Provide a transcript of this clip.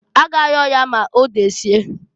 A ga ayọ ya ma odesie.